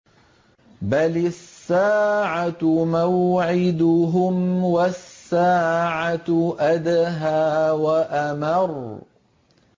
بَلِ السَّاعَةُ مَوْعِدُهُمْ وَالسَّاعَةُ أَدْهَىٰ وَأَمَرُّ